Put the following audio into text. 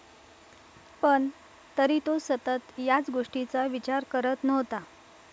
पण, तरी तो सतत याच गोष्टीचा विचार करत नव्हता.